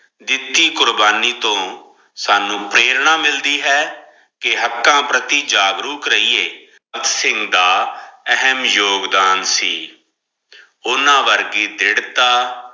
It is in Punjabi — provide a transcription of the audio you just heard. ਦਿੱਤੀ ਕੁਰਬਾਨੀ ਤੋਂ ਸਾਨੂ ਪ੍ਰੇਰਣਾ ਮਿਲਦੀ ਹੈ ਕੇ ਹੱਕਾਂ ਪ੍ਰਤੀ ਜਾਗਰੂਕ ਰਹੀਏ ਦਾ ਯੋਗਦਾਨ ਸੀ ਉਹਨਾਂ ਵਰਗੀ ਦਰਧਿੜਤਾ